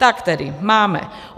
Tak tedy máme: